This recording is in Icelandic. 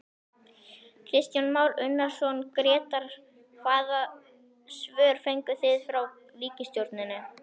Kristján Már Unnarsson, Grétar hvaða svör fenguð þið frá ríkisstjórninni?